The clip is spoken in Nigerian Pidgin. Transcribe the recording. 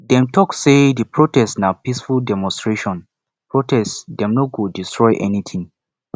dem tok sey di protest na peaceful demonstration protest dem no go destroy anytin